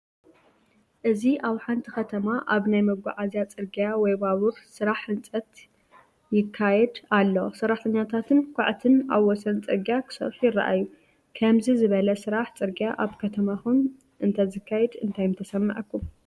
እዚ ኣብ ሓንቲ ከተማ ኣብ ናይ መጓዓዝያ ጽርግያ ወይ ባቡር ስራሕ ህንጸት ይካየድ ኣሎ። ሰራሕተኛታትን ኳዕቲን ኣብ ወሰን ጽርግያ ክሰርሑ ይረኣዩ። ከምዚ ዝበለ ስራሕ ጽርግያ ኣብ ከተማኹም እንተዝካየድ እንታይ ምተሰምዓኩም?